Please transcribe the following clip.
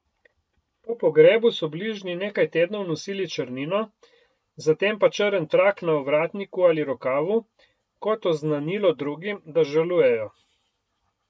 Po pogrebu so bližnji nekaj tednov nosili črnino, zatem pa črn trak na ovratniku ali rokavu kot oznanilo drugim, da žalujejo.